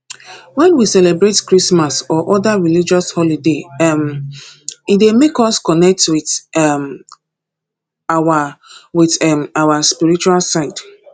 when we celebrate christmas or oda religious holoday um e dey make us connect with um our with um our spiritual side